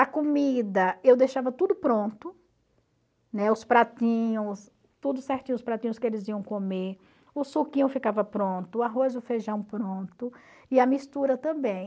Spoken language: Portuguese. A comida eu deixava tudo pronto, né, os pratinhos, tudo certinho os pratinhos que eles iam comer, o suquinho ficava pronto, o arroz e o feijão pronto e a mistura também.